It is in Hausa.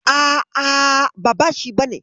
A'a, ba shi bane.